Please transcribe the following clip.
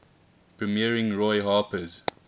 premiering roy harper's